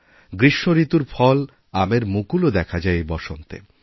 গ্রীষ্মঋতুর ফল আমের মুকুলও দেখা যায় এই বসন্তে